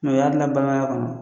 Mɛ o y'a dilan balimaya kɔnɔ